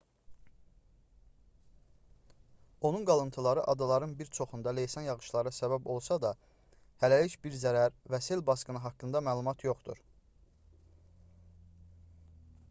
onun qalıntıları adaların bir çoxunda leysan yağışlara səbəb olsa da hələlik bir zərər və sel basqını haqqında məlumat yoxdur